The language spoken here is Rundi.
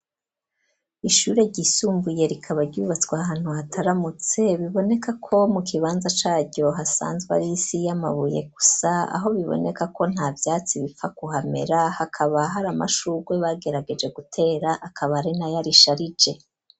Ishure ryisumbuye rikaba ryubatswe ahantu hataramutse biboneka ko mu kibanza caryo hasanzwe arisi y'amabuye gusa aho biboneka ko ntavyatsi bipfa ku hamera hakaba hari amashurwe bagerageje gutera akaba ari nayo arisharije.